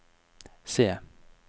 se